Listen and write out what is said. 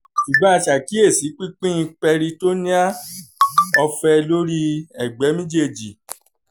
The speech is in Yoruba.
ṣugbọn a ṣe akiyesi pipin peritoneal ọfẹ lori ẹgbẹ mejeeji}